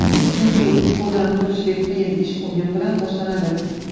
Chunki, uyqudan turishdek qiyin ish o‘yin bilan boshlanadi.